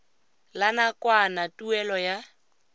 la nakwana tuelo ya